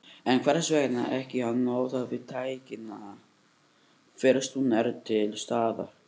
En hvers vegna ekki að notast við tæknina fyrst hún er til staðar?